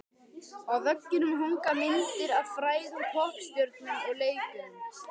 Á veggjunum hanga myndir af frægum poppstjörnum og leikurum.